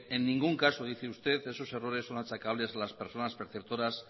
en ningún caso dice usted esos errores son achacables a las personas preceptoras